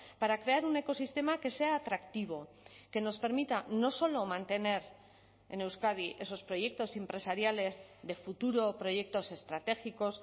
para crear un ecosistema que sea atractivo que nos permita no solo mantener en euskadi esos proyectos empresariales de futuro proyectos estratégicos